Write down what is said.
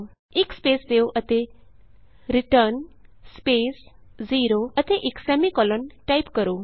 ਇਕ ਸਪੇਸ ਦਿਉ ਅਤੇ ਰਿਟਰਨ ਸਪੇਸ 0 ਅਤੇ ਸੈਮੀਕੋਲੋਨ ਟਾਈਪ ਕਰੋ